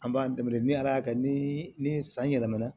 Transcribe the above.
An b'an dɛmɛ ni ala y'a kɛ ni ni ni san yɛlɛmana